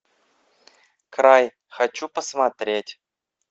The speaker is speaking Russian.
край хочу посмотреть